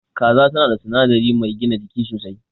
Kaza tan da sinadari mai gina jiki sosai.